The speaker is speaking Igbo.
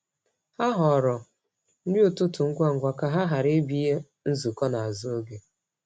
Ha họọrọ nri ụtụtụ ngwa ngwa ka ha ghara ịbịa nzukọ n’azụ oge.